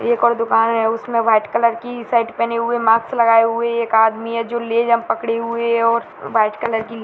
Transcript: एक और दुकान है उसमें व्हाइट कलर की शर्ट पहने हुए मास्क लगाए हुए एक आदमी है जो पकडे हुए है और व्हाइट कलर की --